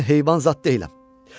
Mən heyvan zad deyiləm.